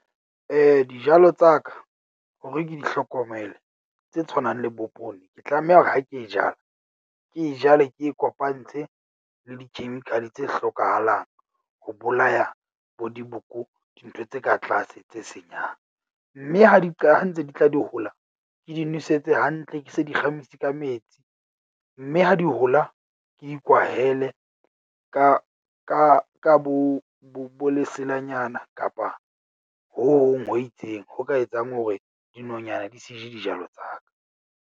Dijalo tsa ka hore ke di hlokomele tse tshwanang le bo poone, ke tlameha hore ha ke e jala, ke e jale, ke e kopantse le di-chemical tse hlokahalang ho bolaya bo diboko dintho tse ka tlase tse senyang. Mme ha di ha ntse di tla di hola, ke di nosetse hantle. Ke se di kgamisi ka metsi. Mme ha di hola ke ikwahele ka ka ka bo bo leselanyana kapa ho hong ho itseng ho ka etsang hore dinonyana di se je dijalo tsa ka.